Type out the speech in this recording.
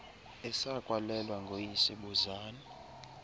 esakwalelwa nguyise buzani